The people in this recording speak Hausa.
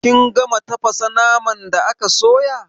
Kin gama tafasa naman da aka sayo?